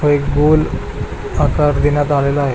एक गोल आकार देण्यात आलेला आहे.